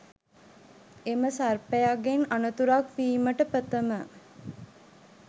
එම සර්පයගෙන් අනතුරක් වීමට ප්‍රථම